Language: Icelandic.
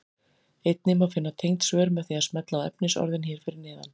Einnig má finna tengd svör með því að smella á efnisorðin hér fyrir neðan.